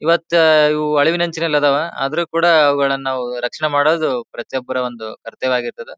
ಇವತ್ತು ಇವು ಅಳಿವಿನಂಚಿನಲ್ಲಿದಾವ ಆದರೂ ಕೂಡ ಅವಗಳನ್ನ ನಾವು ರಕ್ಷಣೆ ಮಾಡೋದು ಪ್ರತಿಯೊಬ್ಬರ ಒಂದು ಕರ್ತವ್ಯವಾಗಿರ್ತದ.